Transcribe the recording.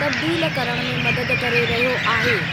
तब्दील करण में मदद करे रहियो आहे।